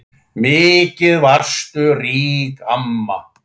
Mikið varstu rík amma.